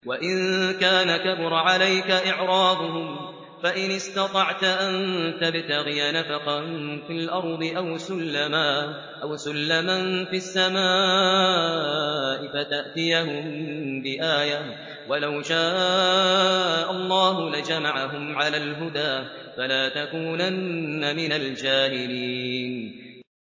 وَإِن كَانَ كَبُرَ عَلَيْكَ إِعْرَاضُهُمْ فَإِنِ اسْتَطَعْتَ أَن تَبْتَغِيَ نَفَقًا فِي الْأَرْضِ أَوْ سُلَّمًا فِي السَّمَاءِ فَتَأْتِيَهُم بِآيَةٍ ۚ وَلَوْ شَاءَ اللَّهُ لَجَمَعَهُمْ عَلَى الْهُدَىٰ ۚ فَلَا تَكُونَنَّ مِنَ الْجَاهِلِينَ